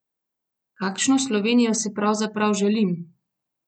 Kakšno Slovenijo si pravzaprav želim?